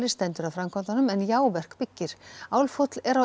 stendur að framkvæmdunum en Jáverk byggir Álfhóll er á